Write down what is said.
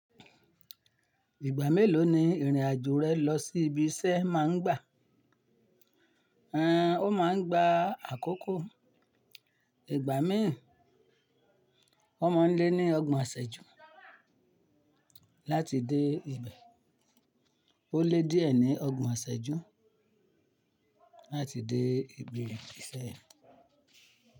Ìgbà mélòó ni ìrìn àjò rẹ lọ sí ibi iṣẹ́ má ń gbà? Ẹn, o má a ń gba àkókò ìgbà mi O má a ń lé ní ọgbọ̀n iṣẹ́jú láti dé ibẹ̀. O lé díẹ̀ ní ọgbọ̀n iṣẹ́jú láti dé ibi iṣẹ́ yẹn.